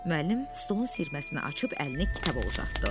Müəllim stolun siyirməsini açıb əlini kitaba uzatdı.